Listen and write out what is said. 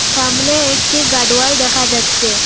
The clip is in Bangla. সামনে একটি গার্ড ওয়াল দেখা যাচ্চে ।